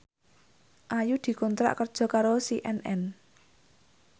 Ayu dikontrak kerja karo CNN